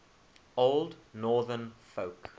old northern folk